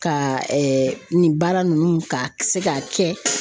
Ka nin baara nunnu ka se ka kɛ.